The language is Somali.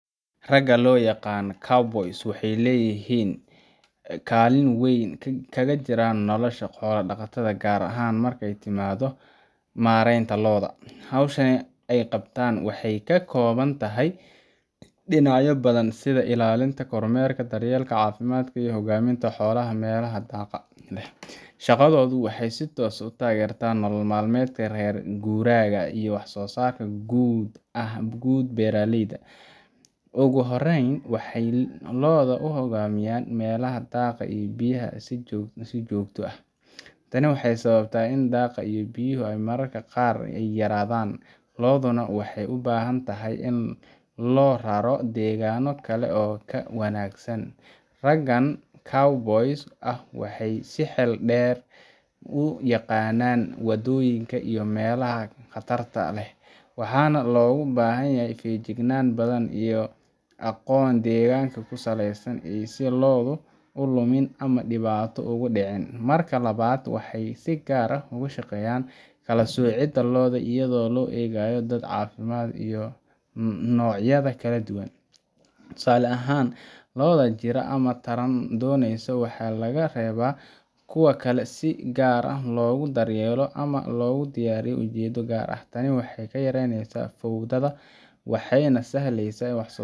Ragga loo yaqaan cowboys waxay kaalin weyn kaga jiraan nolosha xoolo-dhaqatada, gaar ahaan marka ay timaaddo maaraynta lo'da. Hawsha ay qabtaan waxay ka kooban tahay dhinacyo badan sida ilaalinta, kormeerka, daryeelka caafimaadka, iyo u hoggaaminta xoolaha meelaha daaqa leh. Shaqadoodu waxay si toos ah u taageertaa nolol maalmeedka reer guuraaga iyo waxsoosaarka guud ee beeraleyda. Ugu horreyn, waxay lo'da ku hoggaamiyaan meelaha daaqa iyo biyaha leh si joogto ah. Tani waa sababta oo ah daaqa iyo biyuhu mararka qaar way yaraadaan, lo'duna waxay u baahan tahay in loo raro deegaanno kale oo ka wanaagsan. Raggan cowboys ah waxay si xeel dheer u yaqaanaan waddooyinka iyo meelaha khatarta leh, waxaana looga baahanyahay feejignaan badan iyo aqoon deegaanka ku saleysan si aysan lo'du u lumin ama dhibaato ugu dhicin. Marka labaad, waxay si gaar ah uga shaqeeyaan kala soocidda lo'da iyadoo loo eegayo da'da, caafimaadka, iyo noocyada kala duwan. Tusaale ahaan, lo'da jiran ama taran doonaysa waxaa laga reebaa kuwa kale si si gaar ah loogu daryeelo ama loogu diyaariyo ujeeddo gaar ah. Tani waxay yaraynaysaa fowdada, waxayna sahlaysaa in waxsoosaarka